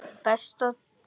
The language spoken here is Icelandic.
Besta Dór.